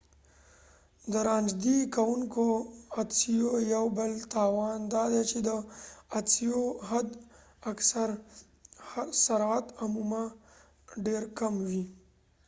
د رانژدې کوونکو عدسیو یو بل تاوان دادی چې د عدسیو حد اکثر سرعت عموما ډیر کم وي